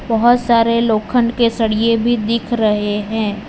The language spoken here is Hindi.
बहोत सारे लोखंड के सरिये भी दिख रहे हैं।